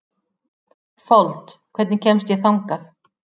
Fold, hvernig kemst ég þangað?